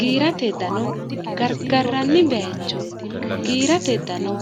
giirate dano gargarranni bayicho giirate dano